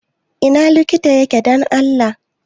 Ina likita yake don Allah?